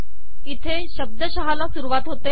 इथे शब्दशः ला सुरुवात होते